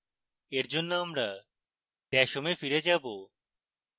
এরজন্য আমরা dash home we ফিরে যাবো